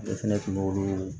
Ne fɛnɛ kun b'olu